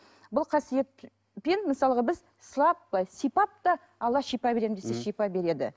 бұл қасиетпен мысалға біз сылап былай сипап та алла шипа беремін десе шипа береді